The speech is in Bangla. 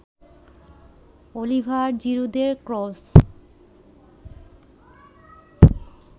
অলিভার জিরুদের ক্রস